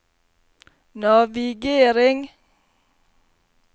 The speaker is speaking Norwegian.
navigering